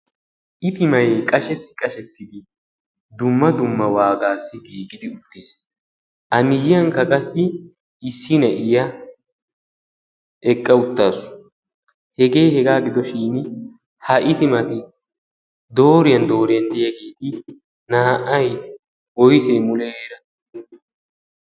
Itimay qashsheti qashshetidi dumma dumma waagaassi giigidi uttiis. A miyyiyankka qassi issi naa'iyaa eqqa uttaasu. Hege hega gidoshin ha itimati dooriyan dooriyan diyaageeti naa''ay woysse muleera?